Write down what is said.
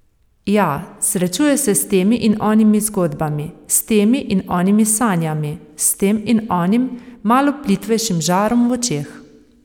Ja, srečuje se s temi in onimi zgodbami, s temi in onimi sanjami, s tem in onim, malo plitvejšim žarom v očeh.